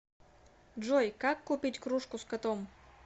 джой как купить кружку с котом